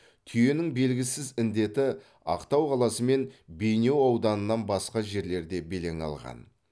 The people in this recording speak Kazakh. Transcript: түйенің белгісіз індеті ақтау қаласы мен бейнеу ауданынан басқа жерлерде белең алған